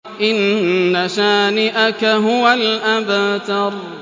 إِنَّ شَانِئَكَ هُوَ الْأَبْتَرُ